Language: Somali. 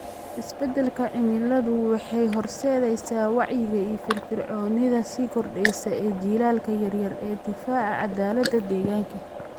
Isbeddelka cimiladu waxay horseedaysaa wacyiga iyo firfircoonida sii kordheysa ee jiilalka yaryar ee difaaca caddaaladda deegaanka.